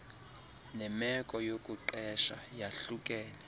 nemeko yokuqesha yahlukene